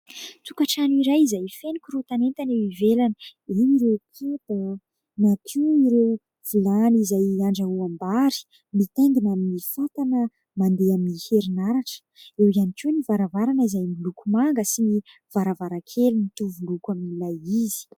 Tokantrano iray izay feno korotan'entana eo ivelany. Eo ireo kapa na koa ireo vilany izay handrahoim-bary mitaingina amin'ny fatana mandeha amin'ny herinaratra. Eo ihany koa ny varavarana izay miloko manga sy ny varavarankely mitovy loko amin'ilay izy.